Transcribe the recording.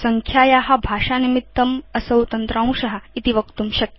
संख्याया भाषानिमित्तम् असौ तन्त्रांश इति वक्तुं शक्यम्